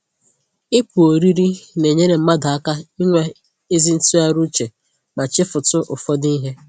Ịpụ ọrịrị na-enyere mmadụ aka inwe ezi ntụgharị uche ma chefutu ụfọdụ ihe